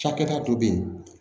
Cakɛda dɔ bɛ yen